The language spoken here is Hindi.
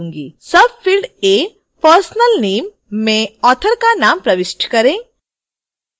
field a personal nameमें author का name प्रविष्ट करें